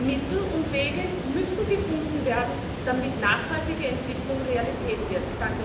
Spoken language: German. Mittel und Wege müssen gefunden werden, damit nachhaltige Entwicklung Realität wird.